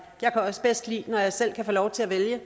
jeg kan også bedst lide når jeg selv kan få lov til at vælge